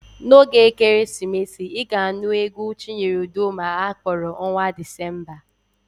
N'oge ekeresimesi, ị ga-anụ égwú Chinyere Udoma a kpọrọ Ọnwạ Dịzemba.